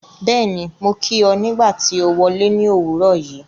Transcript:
Bẹ́ẹ̀ni, mo kí ọ nígbà tí o wọle ní òwúrọ̀ yìí ́.